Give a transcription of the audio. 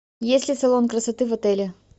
есть ли салон красоты в отеле